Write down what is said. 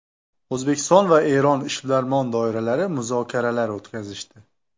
O‘zbekiston va Eron ishbilarmon doiralari muzokaralar o‘tkazishdi.